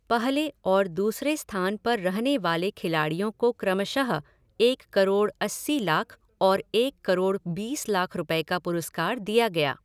पहले और दूसरे स्थान पर रहने वाले खिलाड़ियों को क्रमशः एक करोड़ अस्सी लाख और एक करोड़ बीस लाख रुपये का पुरस्कार दिया गया।